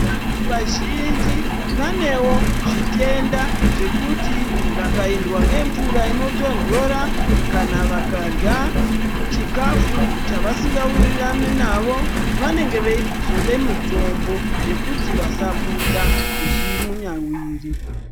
Vantu vazhinji vanewo zvitenda zvekuti vakaendwa ngemvura inotondora kana vakarya chikafu chavasingawirirani navo vanenge veizode mitombo yekuti vasabuda zvimunyawiri.